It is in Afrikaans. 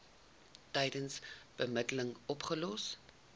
tydens bemiddeling opgelos